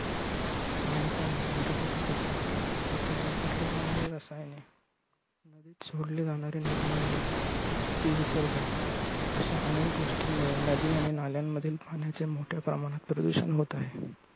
सांडपाणी, घरगुती कचरा, शेतीत वापरली जाणारी रसायने, सोडली जाणारी निर्माल्य ते विसर्जन अशा अनेक गोष्टींमुळे नदी आणि नाल्यांमधील पाण्याचे मोठ्या प्रमाणात प्रदूषण होत आहे.